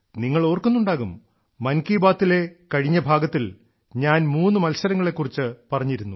നിങ്ങൾ ഓർക്കുന്നുണ്ടാകും മൻ കി ബാത്തിലെ കഴിഞ്ഞ ഭാഗത്തിൽ ഞാൻ മൂന്നു മത്സരങ്ങളെക്കുറിച്ച് പറഞ്ഞിരുന്നു